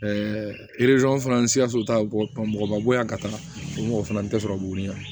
fana sikaso ta mɔgɔbabo yan ka taa mɔgɔ fana tɛ sɔrɔ boli